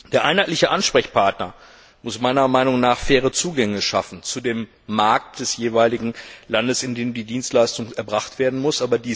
Der einheitliche Ansprechpartner muss faire Zugänge schaffen zu dem Markt des jeweiligen Landes, in dem die Dienstleistung erbracht werden muss.